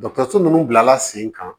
Dɔkɔtɔrɔso nunnu bilala sen kan